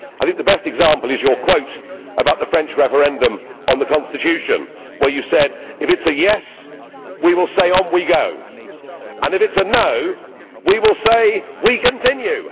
I think the best example is your quote about the French referendum on the constitution where you said if it is a yes' we will say on we go', and if it is a no' we will say we continue'.